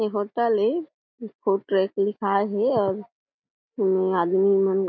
ए hotel ए food truck और एमे आदमी मन --